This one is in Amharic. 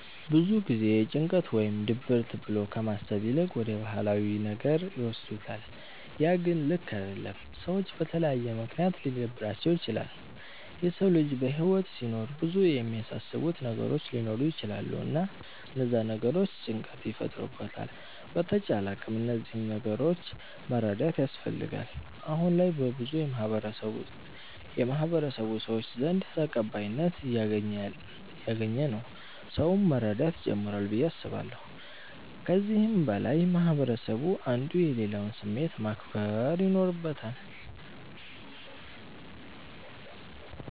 ብዙ ጊዜ ጭንቀት ወይም ድብርት ብሎ ከማሰብ ይልቅ ወደ ባህላዊ ነገር ይወስዱታለ ያ ግን ልክ አደለም። ሰዎች በተለያየ ምክንያት ሊደብራቸዉ ይችላል። የሰዉ ልጅ በህይወት ሲኖር ብዙ የሚያሳስቡት ነገሮች ሊኖሩ ይቸላሉ እና እነዛ ነገሮች ጭንቀት ይፈጥሩበታል በተቻለ አቅም እነዚህን ነገሮች መረዳት ያስፈልጋል። አሁነ ላይ በብዙ የማህበረሰቡ ሰዎች ዘንድ ተቀባይነት እያገኝ ነዉ ሰዉም መረዳት ጀምሯል ብዬ አስባለሁ። ከዚህም በላይ ማህበረስቡ አንዱ የሌላዉን ስሜት ማክበር ይኖርበታል።